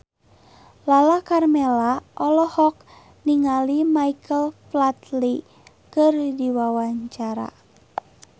Lala Karmela olohok ningali Michael Flatley keur diwawancara